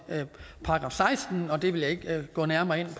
§ sekstende det vil jeg ikke gå nærmere ind